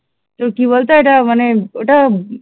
তো কি বলতো ওইটা মানে ওইটা